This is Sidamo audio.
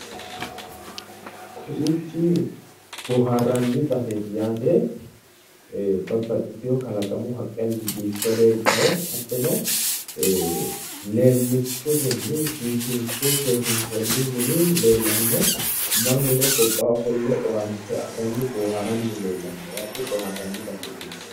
Kowiichi bohaarranni baseeti yaate babbaxxiteyo kalaqamu haqqenni biiffe leeltawo hattono leemmichotenni biifinse seesiinsoonni mini leellanno mannuno gobbaa ofolle owaante afiranni boohaaranni leellanno bohaarranni baseeti.